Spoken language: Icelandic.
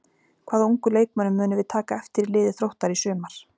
Hvaða ungu leikmönnum munum við taka eftir í liði Þróttar í sumar?